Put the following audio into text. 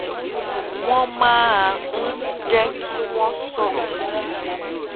wón máa ń jé kí wọn sọrọ ní